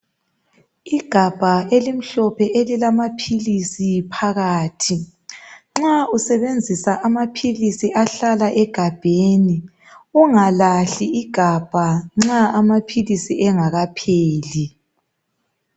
Igabha elimhlophe elilamaphilisi phakathi. Nxa usebenzisa amaphilisi ahlala egabheni, ungalahli igabha nxa amaphilisi engakapheli.